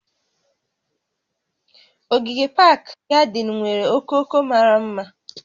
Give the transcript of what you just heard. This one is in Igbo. Ogige pak gadịn nwere okooko mara mma